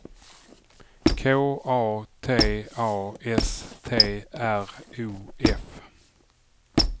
K A T A S T R O F